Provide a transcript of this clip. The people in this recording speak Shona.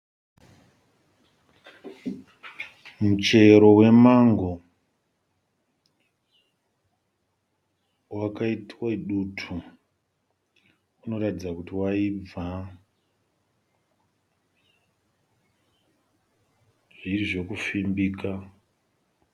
Muchero wemango wakaitwe dutu. Unoratidza kuti waibva zvirizvekufimbika.